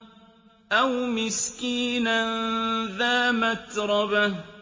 أَوْ مِسْكِينًا ذَا مَتْرَبَةٍ